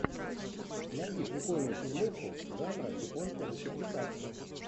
найди прикольную фильмуху жанра японская мультипликация